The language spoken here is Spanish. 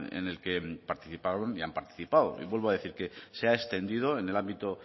en el que participaron y han participado vuelvo a decir que se ha extendido en el ámbito